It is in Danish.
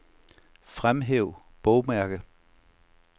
Fremhæv bogmærke.